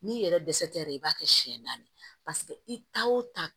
N'i yɛrɛ dɛsɛra i b'a kɛ siɲɛ naani i ta o taa